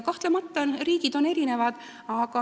Kahtlemata on riigid erinevad.